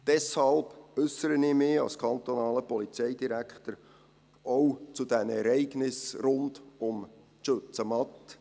Deshalb äussere ich mich als kantonaler Polizeidirektor auch zu den Ereignissen rund um die Schützenmatte.